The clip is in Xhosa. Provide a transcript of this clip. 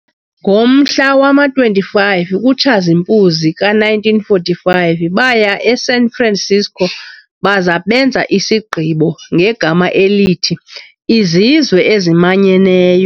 Ngomhla wama-25 kuTshazipuzi ka1945 baya eSan Francisco baza benza isigqibo ngegama elithi 'IZizwe eziManyeneyo'.